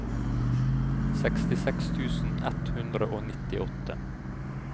sekstiseks tusen ett hundre og nittiåtte